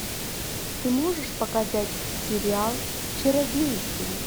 ты можешь показать сериал чародейки